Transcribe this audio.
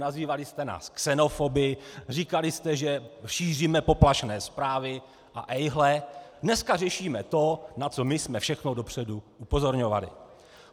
Nazývali jste nás xenofoby, říkali jste, že šíříme poplašné zprávy - a ejhle, dneska řešíme to, na co my jsme všechno dopředu upozorňovali!